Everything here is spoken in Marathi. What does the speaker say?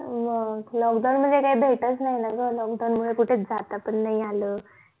lockdown मुले काय भेट चा नाही ना ग lockdown मुळे कुठे जाता पण नि आलं